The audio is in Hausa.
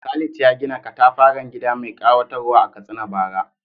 Khalid ya gina katafaren gida mai kayatarwa a Katsina bara.